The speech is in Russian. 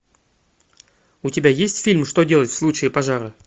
у тебя есть фильм что делать в случае пожара